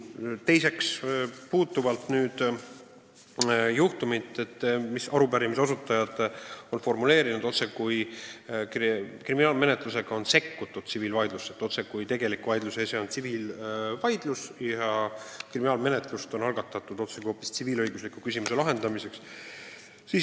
Teiseks puudutan asjaolu, et arupärimise esitajad on formuleerinud oma küsimuse nii, otsekui oleks kriminaalmenetlusega sekkutud tsiviilvaidlusse – otsekui tegelik vaidluse ese oleks tsiviilvaidlus ja kriminaalmenetlus on algatatud hoopis tsiviilõigusliku küsimuse lahendamiseks.